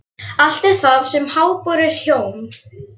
Allt er það sem háborið hjóm.